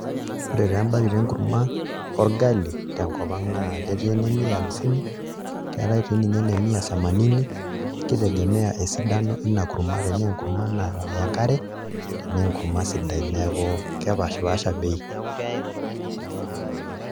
Ore taa embakit enkurmaorgali tenkop ang' naa ketii ene mia hamsini, keetai sininye ene mia samanini kitegemea esidano ina kurma tenaa enkurma naya enkare tenaa enkurma sidai, neeku kepaashipaasha bei.